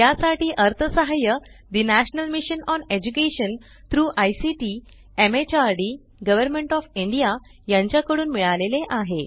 यासाठी अर्थसहाय्य the national mission on education through ICT MHRD government O F India यांच्या कडून मिळाले आहे